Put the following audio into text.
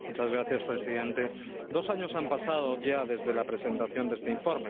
Señor presidente, dos años han pasado ya desde la presentación de este informe.